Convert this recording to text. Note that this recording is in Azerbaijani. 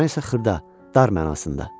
Mən isə xırda, dar mənasında.